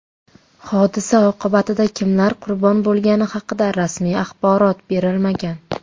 Hodisa oqibatida kimlar qurbon bo‘lgani haqida rasmiy axborot berilmagan.